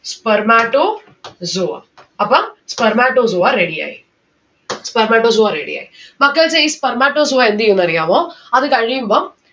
spermatozoa അപ്പ spermatozoa ready ആയി. spermatozoa ready ആയി. മക്കൾസെ ഈ spermatozoa എന്തെയ്യുംന്ന് അറിയാവോ? അത് കഴിയുമ്പം